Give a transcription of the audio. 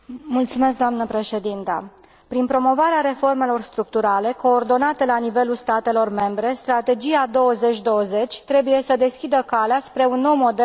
Prin promovarea reformelor structurale coordonate la nivelul statelor membre, Strategia 2020 trebuie să deschidă calea spre un nou model de creștere economică în Europa.